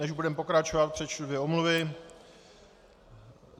Než budeme pokračovat, přečtu dvě omluvy.